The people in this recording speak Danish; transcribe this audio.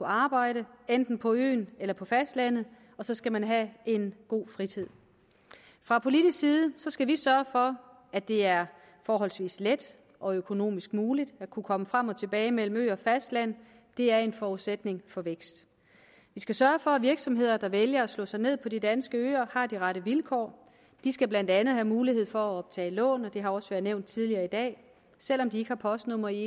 arbejde enten på øen eller på fastlandet og så skal man have en god fritid fra politisk side skal vi sørge for at det er forholdsvis let og økonomisk muligt at kunne komme frem og tilbage mellem ø og fastland det er en forudsætning for vækst vi skal sørge for at virksomheder der vælger at slå sig ned på de danske øer har de rette vilkår de skal blandt andet have mulighed for at optage lån det har også været nævnt tidligere i dag selv om de ikke har postnummer i